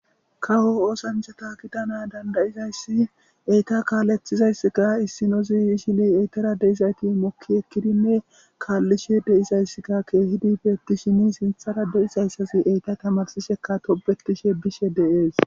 kawo oosanchata kitana dandayizayssi eyta kaalethizayssika issinoziyishili eytara deizayti mokki ekkidinne kaallishe de7izayssikka keehidife etishini sinthara deyisayssasi eyta tamarsishekka tobetishe bishe deees